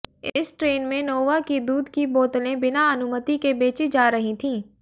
इस ट्रेन में नोवा की दूध की बोतलें बिना अनुमति के बेची जा रही थीं